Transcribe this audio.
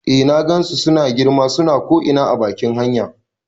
Eh na gansu suna girma, suna ko ina a bakin hanya